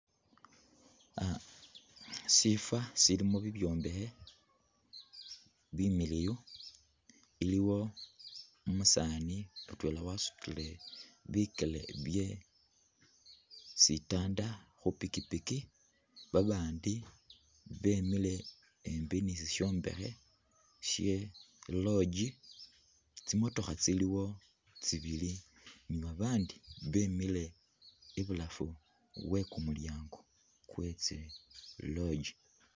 Shifo shilimo bibyombekhe bimiliwu iliwo umusani mutwena wasutile bikele bye sitanda khupikipiki babandi bemile hambi ni shishombekhe she lodge tsimotokha tsiliwo tsibili ni babandi bemile ibulafu wekumulyango kwetsi lodge.